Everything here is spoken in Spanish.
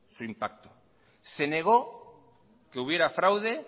su impacto se negó que hubiera fraude